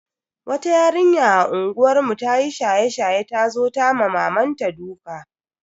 Wata yarinya a unguwar mu ta yi shaye-shaye ta zo ta ma mamanta duka.